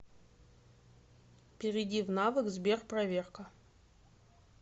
перейди в навык сберпроверка